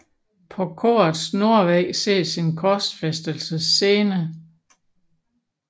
På korets nordvæg ses en korsfæstelsscene